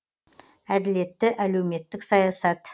әділетті әлеуметтік саясат